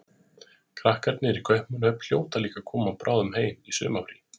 Krakkarnir í Kaupmannahöfn hljóta líka að koma bráðum heim í sumarfrí.